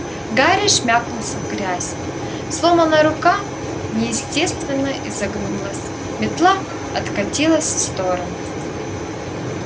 гарри шмякнулся в грязь сломанная рука неестественно изогнулась метла откатилась в сторону